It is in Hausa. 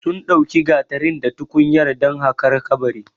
Sun ɗauki gatarin da tukunyar dan haƙar kabarin